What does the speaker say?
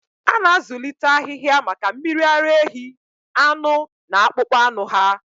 A na-azụlite ahịhịa maka mmiri ara ehi, anụ, na akpụkpọ anụ ha.